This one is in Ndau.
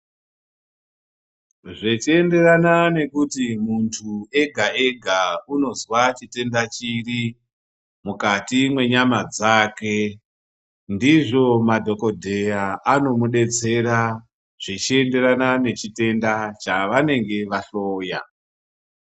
Zvichienderana nekuti muntu ega ega unozwa chitenda chiri mukati mwenyama dzake ndizvo madhokodheya anomudetsera zvichienderana nechitenda chaanenge vahloya.